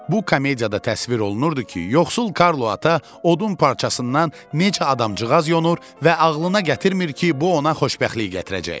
Bu komediyada təsvir olunurdu ki, yoxsul Karlo Ata odun parçasından necə adamcıqaz yonur və ağlına gətirmir ki, bu ona xoşbəxtlik gətirəcək.